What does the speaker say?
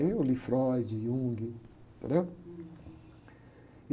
Aí eu li Freud, Jung, entendeu?